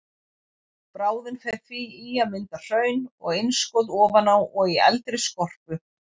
Bráðin fer því í að mynda hraun og innskot ofan á og í eldri skorpu.